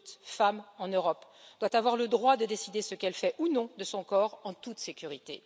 Toute femme en Europe doit avoir le droit de décider ce qu'elle fait ou non de son corps en toute sécurité.